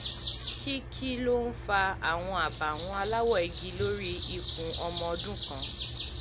kí kí ló ń fa àwọn àbàwọ́n aláwọ̀ igi lórí ikùn ọmọ ọdún kan?